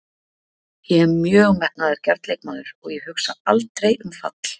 Ég er mjög metnaðargjarn leikmaður og ég hugsa aldrei um fall.